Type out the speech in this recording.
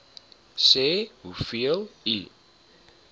sê hoeveel u